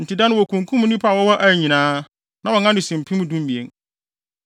Enti da no wokunkum nnipa a wɔwɔ Ai nyinaa; na wɔn ano si mpem dumien.